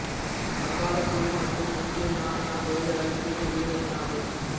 வங்காளப் புலி மற்றும் இந்திய யானை ஆகியவை அருகிய உயிரினங்களாகும்